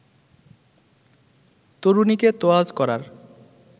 তরুণীকে তোয়াজ করার